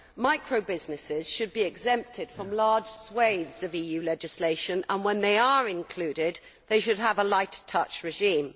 Micro businesses should be exempted from large swathes of EU legislation and, when they are included, they should have a light touch regime.